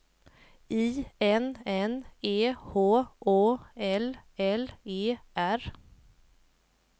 I N N E H Å L L E R